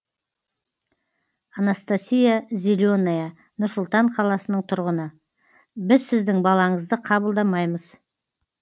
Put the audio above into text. анастасия зеленая нұр сұлтан қаласының тұрғыны біз сіздің балаңызды қабылдамаймыз